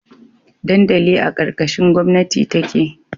Dandali a karkashin gomnati take